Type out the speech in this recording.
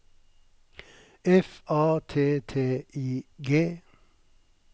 F A T T I G